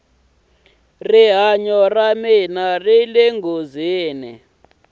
rihanyo ra mina rile nghozini